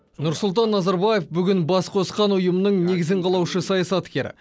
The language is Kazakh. нұрсұлтан назарбаев бүгін бас қосқан ұйымның негізін қалаушы саясаткер